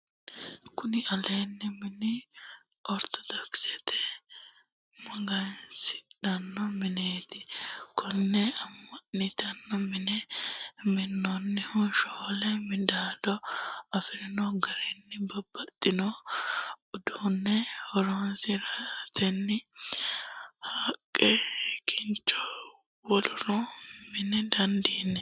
kuni leellanno mini ortodoxe magansidhanno mineeti. konne amma'nite mine minannihuno shoole midaado afirino garinni babbaxxino uduunne horoonsiratenni haqqe, kincho wolurini mina dandinanni.